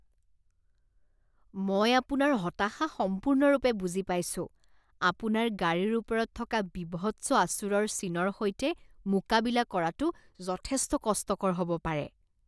মই আপোনাৰ হতাশা সম্পূৰ্ণৰূপে বুজি পাইছো। আপোনাৰ গাড়ীৰ ওপৰত থকা বীভৎস আচোঁৰৰ চিনৰ সৈতে মোকাবিলা কৰাটো যথেষ্ট কষ্টকৰ হ'ব পাৰে।